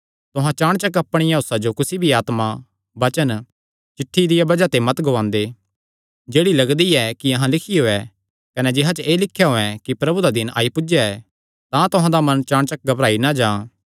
तुहां चाणचक अपणिया होसा जो कुसी भी आत्मा वचन चिठ्ठी दिया बज़ाह ते मत गुआंदे जेह्ड़ी लगदी ऐ कि अहां लिखियो ऐ कने जिसा च एह़ लिख्या होयैं कि प्रभु दा दिन आई पुज्जया ऐ तां तुहां दा मन चाणचक घबराई नीं जां